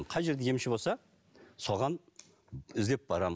қай жерде емші болса соған іздеп барамын